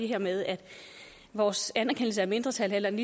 her med at vores anerkendelse af mindretal